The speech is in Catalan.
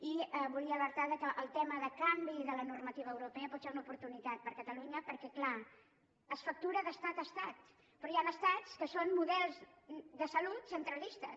i volia alertar que el tema de canvi de la normativa europea pot ser una oportunitat per a catalunya perquè clar es factura d’estat a estat però hi han estats que són models de salut centralistes